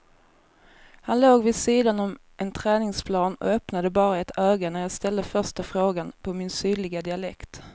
Han låg vid sidan om en träningsplan och öppnade bara ett öga när jag ställde första frågan på min sydliga dialekt.